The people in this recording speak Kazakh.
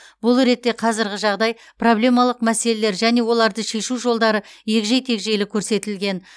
бұл ретте қазырғы жағдай проблемалық мәселелер және оларды шешу жолдары егжей тегжейлі көрсетілген